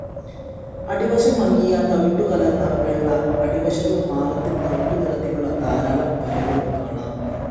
അടിവശം മങ്ങിയ തവിട്ടു കലർന്ന വെള്ള, അടിവശത്തും മാറത്തും തവിട്ടുനിറത്തിലുള്ള ധാരാളം വരകളും കാണാം.